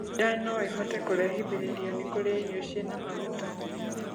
Nda noĩhote kurehithĩrĩrio ni kurĩa irio ciĩna maguta